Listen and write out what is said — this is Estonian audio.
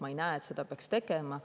Ma ei arva ka, et seda peaks tegema.